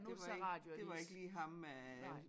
Det var ik det var ikke lige ham øh